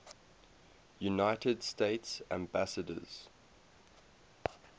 united states ambassadors